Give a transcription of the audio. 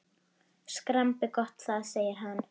Skrambi gott það! segir hann.